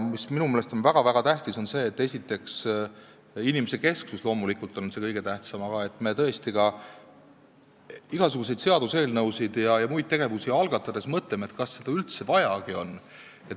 Inimesekesksus on loomulikult kõige tähtsam, aga minu meelest on väga-väga tähtis ka see, et me tõesti igasuguseid seaduseelnõusid ja muid tegevusi algatades mõtleme, kas seda üldse vajagi on.